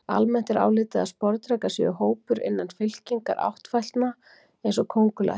Almennt er álitið að sporðdrekar séu hópur innan fylkingar áttfætlna eins og köngulær.